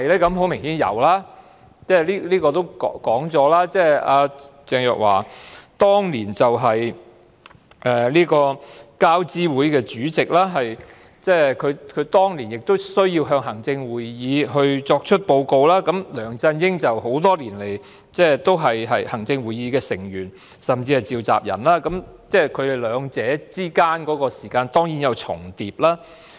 很明顯是有的，這是已經說過的，鄭若驊當年是交通諮詢委員會主席，她當年需要向行政會議報告，而梁振英多年來也是行政會議的成員，甚至是召集人，所以他們兩人之間當然有工作關係。